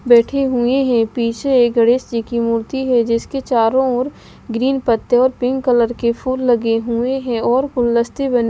बैठे हुए हैं पीछे एक गणेश जी की मूर्ति है जिसके चारों ओर ग्रीन पत्ते और पिंक कलर के फूल लगे हुए हैं और गुलदस्ते बन--